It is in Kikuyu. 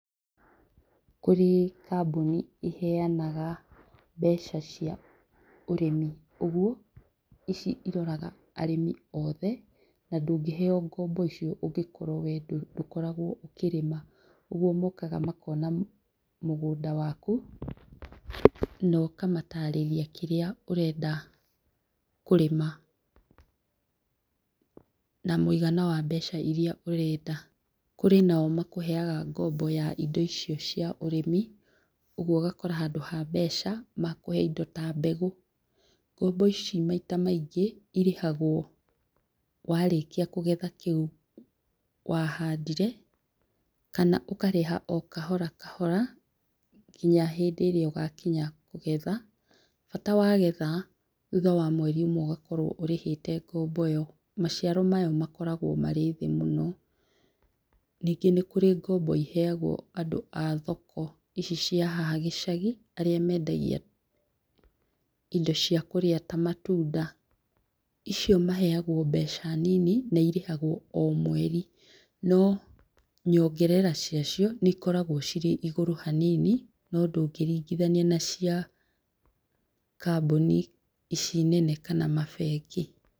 Kũrĩ kambuni iheanaga mbeca cia ũrĩmi. Ũguo ici iroraga arĩmi oothe na ndũngĩheo ngombo icio ũngĩkorwo we ndũkoragwo ũkĩrĩma, ũguo mokaga makona mũgũnda waku, noka matarĩria kĩrĩa ũrenda kũrĩma, na mũigana wa mbeca iria ũrenda. Kũrĩ nao makũheaga ngombo ya indo icio cia ũrĩmi ũguo ũgakora handũ ha mbeca, makũhe indo ta mbegũ. Ngombo ici maita maingĩ irĩhagwo warĩkia kũgetha kĩu wahandire, kana ũkarĩha o kahora kahora, nginya hĩndĩ ĩrĩa ũgakinya kũgetha, bata wagetha thutha wa mweri ũmwe ũgakora ũrĩhĩte ngombo ĩyo, maciaro mayo makoragwo marĩ thĩ mũno. Ningĩ nĩ kũrĩ ngombo iheagwo andũ a thoko ici cia haha gĩcagi, arĩa mendagia indo cia kũrĩa matunda icio maheagwo mbeca nini na irĩhagwo o mweri, no nyongerera ciacio nĩ ikoragwo ciĩ igũrũ hanini, no ndũngĩringithania na cia kambuni ici nene kana mabengi.